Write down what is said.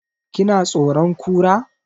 Ki na tsoron Kura?